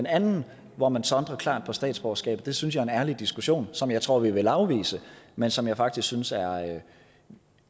andet hvor man sondrer klart ved statsborgerskab synes jeg er en ærlig diskussion som jeg tror vi ville afvise men som jeg faktisk synes